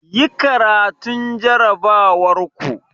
Yi karatun jarrabawar ku!